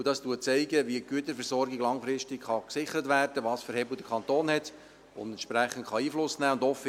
Dieses zeigt auf, wie die Güterversorgung langfristig gesichert werden kann, welche Hebel der Kanton hat und wie er entsprechend Einfluss nehmen kann.